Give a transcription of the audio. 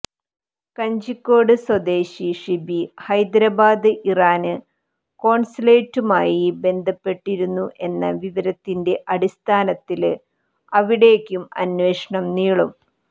കഞ്ചിക്കോട് സ്വദേശി ഷിബി ഹൈദരബാദ് ഇറാന് കോണ്സുലേറ്റുമായി ബന്ധപ്പെട്ടിരുന്നു എന്ന വിവരത്തിന്റെ അടിസ്ഥാനത്തില് അവിടേക്കും അന്വേഷണം നീളും